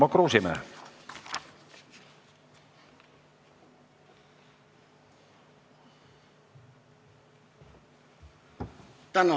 Tarmo Kruusimäe.